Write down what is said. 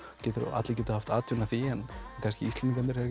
allir geta haft atvinnu af því en Íslendingarnir eru